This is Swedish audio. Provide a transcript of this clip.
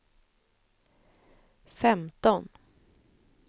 femton